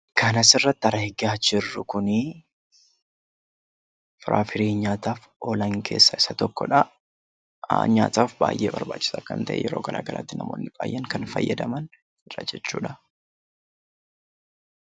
Kan asirratti argaa jirru kun firiiwwan nyaataaf oolan keessaa isa tokkodha. Nyaataaf baay'ee barbaachisaa kan ta'e yeroo garaagaraatti namoonni baay'een kan fayyadamanidha jechuudha